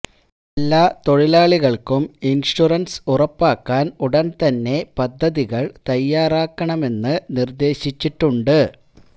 എല്ലാ തൊഴിലാളികൾക്കും ഇൻഷ്വറൻസ് ഉറപ്പാക്കാൻ ഉടൻ തന്നെ പദ്ധതികൾ തയാറാക്കണമെന്ന് നിർദ്ദേശിച്ചിട്ടുണ്ട്